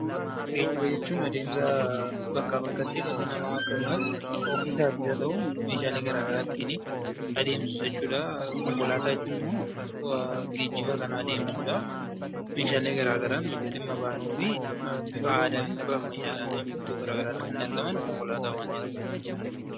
Geejjiba jechuun adeemsa bakkaa bakkatti dhalli namaa ofii isaatiis haa ta'u meeshaalee garaagaraa ittiin adeemsisu jechuudha. Konkolaataa jechuun immoo geejjiba garaagaraa meeshaalee garaagaraa ittiin dhimma baanuu fi bifa aadaa yookiin ammayyaatiin iddoo biraatti kanneen argamanidha.